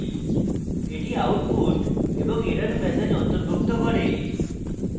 এটি output এবং error message অন্তর্ভুক্ত করে